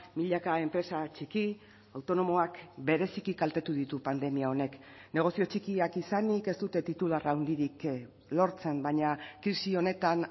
milaka enpresa txiki autonomoak bereziki kaltetu ditu pandemia honek negozio txikiak izanik ez dute titular handirik lortzen baina krisi honetan